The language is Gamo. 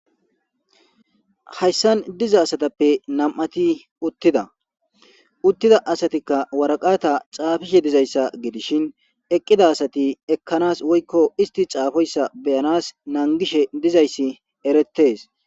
Hayssan diza asathappe nam7athi uththida; uththida asathikka waraqatha caafishe dizayssa gidishin eqqida asathi ekkanaas woykko isththi caafoyssa be7anaas nanggishe dizayssi ereththees.